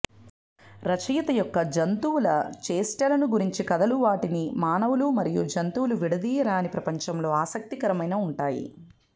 రచయిత యొక్క జంతువుల చేష్టలను గురించి కథలు వాటిని మానవులు మరియు జంతువుల విడదీయరాని ప్రపంచంలో ఆసక్తికరమైన ఉంటాయి